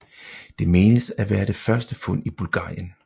Det menes at være det første fund i Bulgarien